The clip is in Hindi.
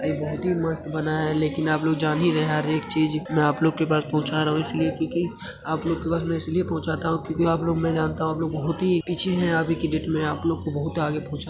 एक बहुत ही मस्त बना है लेकिन आप लोग जान ही गये है हर एक चीज मै आप लोगो के पास पहुँचा रहा हुँ इसलिए क्यूंकि आप लोगो के पास मैं इसलिए पहुँचाता हुँ क्यूंकी आप लोग मैं जानता हुँ आप लोग बहुत ही पीछे हैं आगे की डेट मै आप लोगो को बहुत आगे पहुंचा --